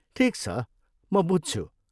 ठिक छ, म बुझ्छु।